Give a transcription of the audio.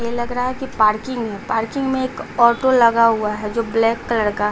ये लग रहा है कि पार्किंग है पार्किंग में एक ऑटो लगा हुआ हैजो ब्लैक कलर का --